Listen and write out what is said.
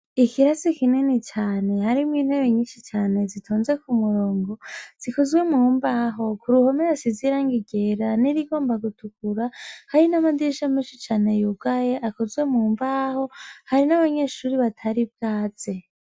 Ikirasi kinni cane hari mine ye nyishi chane zitonze kumurongo zikozwe muhumba aho kuruhome hasi zirangigera niri gomba kutukura harina madirisha meshi chane yiugaye akozwe mummbaho harin abanyeshuri vatari bwaze.